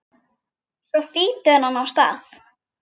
Svo þýtur hann af stað.